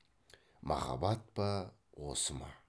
махаббат па осы ма